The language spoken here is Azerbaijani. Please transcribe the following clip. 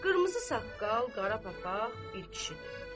Qırmızı saqqal, qara papaq bir kişidir.